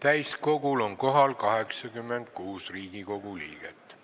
Täiskogul on kohal 86 Riigikogu liiget.